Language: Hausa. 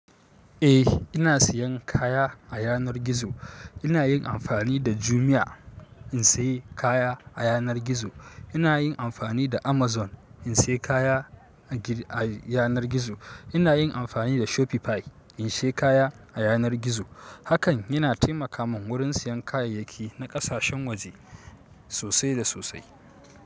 Eh ina siyan kaya a yanar gizo. Ina yin amfani da Jumia in sayi kaya a yanar gizo. Ina yin amfani da Amazon in sayi kaya a yanar gizo. Ina yin amfani da Shopify in sai kaya a yanar gizo. Hakan yana taimaka mun wurin siyan kayayyaki na ƙasashen waje sosai da sosai.